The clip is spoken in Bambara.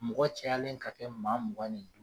Mɔgɔ cɛyalen ka kɛ maa mugan